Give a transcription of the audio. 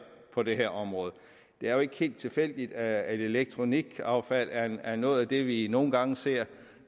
på det her område det er jo ikke helt tilfældigt at elektronikaffald er noget af det vi nogle gange ser